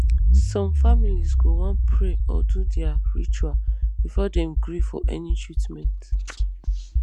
some families go wan pray or do their ritual before dem gree for any treatment